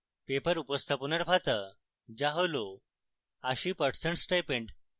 paper উপস্থাপনার ভাতা যা 80% stipend